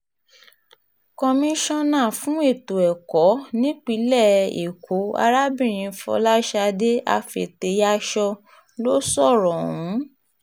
komisanna fún ètò ẹ̀kọ́ um nípìnlẹ̀ ẹ̀kọ́ arábìnrin fọlásadé afetéyàsọ ló um sọ̀rọ̀ ọ̀hún